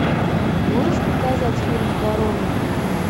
можешь показать фильм корона